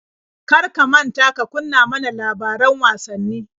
Kar ka manta ka kunna ma na labaran wasanni.